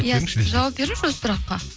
иә жауап беріңізші осы сұраққа